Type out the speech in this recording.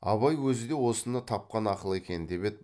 абай өзі де осыны тапқан ақыл екен деп еді